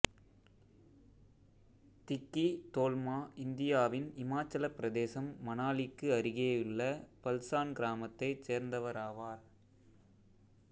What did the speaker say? திக்கி தோல்மா இந்தியாவின் இமாச்சலப் பிரதேசம் மனாலிக்கு அருகேயுள்ள பல்சான் கிராமத்தைச் சேர்ந்தவராவார்